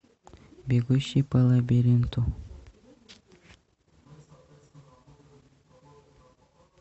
бегущий по лабиринту